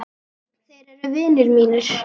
Þeir eru vinir mínir.